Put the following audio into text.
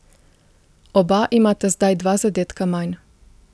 Oba imata zdaj dva zadetka manj.